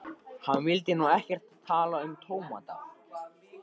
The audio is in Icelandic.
Hann vildi nú ekkert tala um tómata.